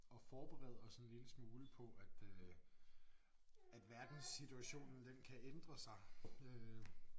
At forberede os en lille smule på at øh at verdenssituationen den kan ændre sig øh